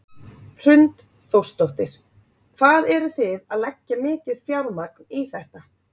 Hrund Þórsdóttir: Hvað eru þið að leggja mikið fjármagn í þetta?